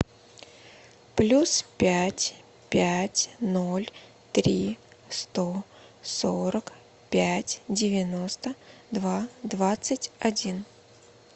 плюс пять пять ноль три сто сорок пять девяносто два двадцать один